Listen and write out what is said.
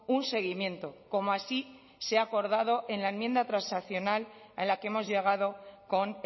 un seguimiento como así se ha acordado en la enmienda transaccional a la que hemos llegado con